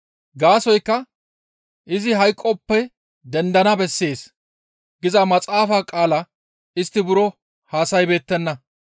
Gaasoykka, «Izi hayqoppe dendana bessees» giza maxaafa qaalaa istti buro hassa7ibeettenna.